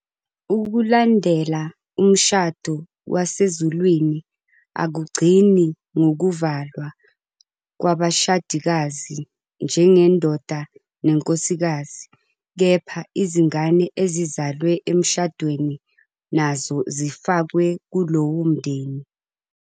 Ukulandela umshado wasezulwini, akugcini ngokuvalwa kwabashadikazi njengendoda nenkosikazi, kepha izingane ezizalwe emshadweni nazo zifakwe kulowo mndeni.